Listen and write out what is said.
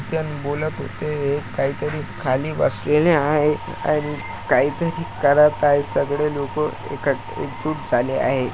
त्यांनी बोलत होते हे काहीतरी खाली बसलेले आहे आणि काहीतरी करत आहे सगळे लोक एका एकजूट झाले आहे.